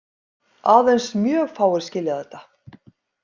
Aðeins mjög fáir skilja þetta.